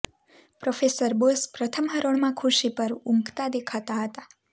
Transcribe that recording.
professor Bose પ્રથમ હરોળમાં ખુરશી પર ઊંઘતા દેખાતા હતા